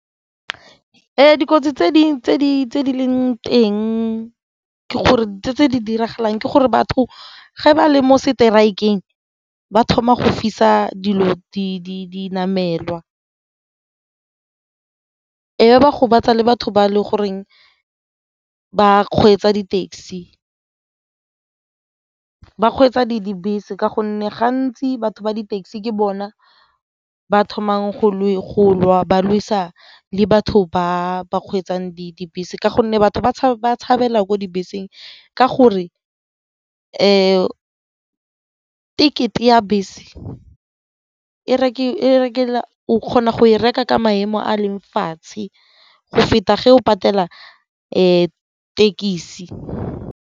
Dikotsi tse di leng teng ke gore tse di diragalang ke gore batho ge ba le mo strike-eng ba thoma go fisa dilo dinamelwa e ba gobatsa le batho ba e le goreng ba kgweetsa di-taxi, ba kgweetsa dibese ka gonne gantsi batho ba di-taxi ke bona ba thoma go ba lwesa le batho ba ba kgweetsang dibese ka gonne batho ba tshabela ko dibeseng ka gore ticket-e ya bese o kgona go e reka ka maemo a leng fatshe go feta ge o patela e ya thekisi.